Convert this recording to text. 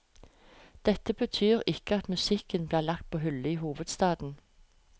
Dette betyr ikke at musikken blir lagt på hyllen i hovedstaden.